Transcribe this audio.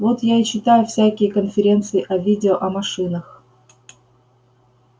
вот я и читаю всякие конференции о видео о машинах